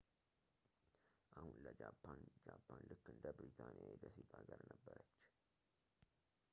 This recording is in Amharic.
አሁን ለጃፓን ጃፓን ልክ እንደ ብሪታንያ የደሴት አገር ነበረች